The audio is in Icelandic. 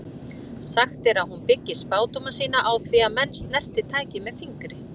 Sagt er að hún byggi spádóma sína á því að menn snerti tækið með fingri.